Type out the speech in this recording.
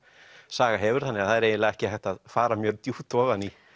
saga hefur þannig að það er eiginlega ekki hægt að fara mjög djúpt ofan í